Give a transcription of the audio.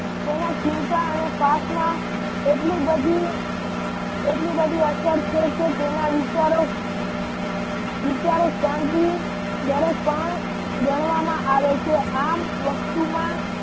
તેના ચિંતા અને પાઠમાં એટલી બધી એટલી બધી અસર થઇ છે તેના વિચારો વિચારો શાંતિ દરેક પણ ગણવામાં આવે છે આમ વસ્તુમાં